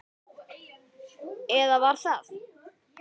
Eða var það?